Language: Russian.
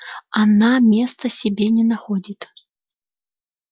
она места себе не находит